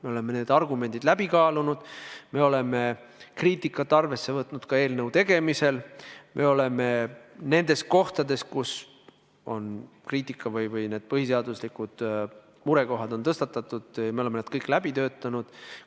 Me oleme argumendid läbi kaalunud, me oleme kriitikat arvesse võtnud ka eelnõu tegemisel, me oleme need murekohad, mida on kritiseeritud põhiseaduse seisukohast, kõik läbi töötanud.